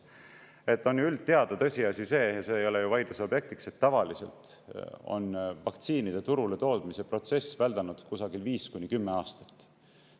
See on ju üldteada tõsiasi, ja see ei ole ju vaidluse objektiks, et tavaliselt on vaktsiinide turule toomise protsess väldanud kusagil 5–10 aastat.